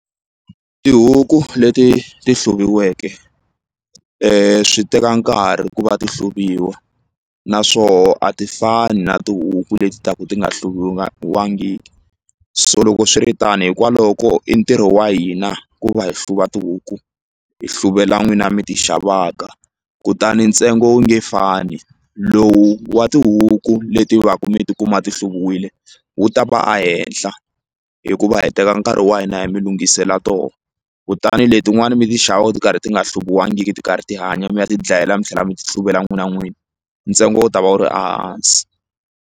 Tihuku leti ti hluviweke swi teka nkarhi ku va ti hluviwa na swoho a ti fani na tihuku leti taku ti nga so loko swiri tani hikwalaho ko i ntirho wa hina ku va hi hluva tihuku hi hluvela n'wina mi ti xavaka kutani ntsengo wu nge fani lowu wa tihuku leti va ku mi tikuma ti hluviwile wu ta va a henhla hikuva hi teka nkarhi wa hina hi mi lungisela to kutani letin'wani mi ti xavaku ti karhi ti nga hluviwangiki ti karhi ti hanya mi ya tidlayela mi tlhela mi ti hluvela n'wina n'wini ntsengo wu ta va wu ri a hansi.